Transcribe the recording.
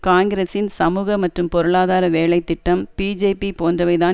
காங்கிரசின் சமூக மற்றும் பொருளாதார வேலை திட்டம் பிஜேபிஐ போன்றவை தான்